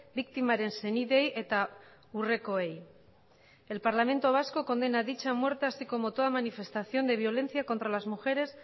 biktimaren senideei eta urrekoei el parlamento vasco condena dicha muerte así como toda manifestación de violencia contra las mujeres